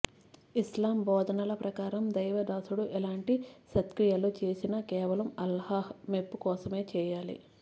ఇస్లామ్ బోధనల ప్రకారం దైవదాసుడు ఎలాంటి సత్క్రియలు చేసినా కేవలం అల్లాహ్ మెప్పు కోసమే చేయాలి